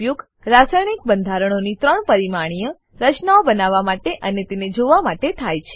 આનો ઉપયોગ રાસાયણિક બંધારણોની 3 પરિમાણીય રચનાઓ બનાવવા માટે અને તેને જોવા માટે થાય છે